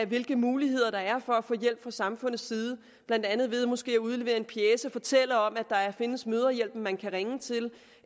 hvilke muligheder der er for at få hjælp fra samfundets side blandt andet ved måske at udlevere en pjece og fortælle om at der findes mødrehjælpen man kan ringe til